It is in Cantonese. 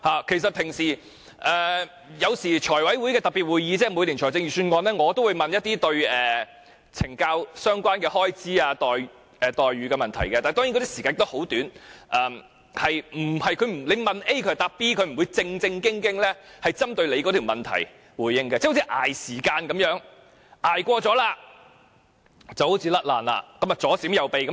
其實在財務委員會特別會議，即每年討論財政預算案的會議上，我也會問一些有關懲教署相關開支、待遇的問題，但當然發問的時間很短，我問 A， 他們會回答 B， 他們不會正面回應我的問題，好像在拖延時間般，拖過了就可以回避回答。